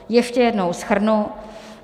Ještě jednou shrnu.